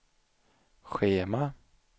schema